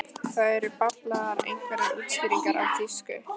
Það eru bablaðar einhverjar útskýringar á þýsku.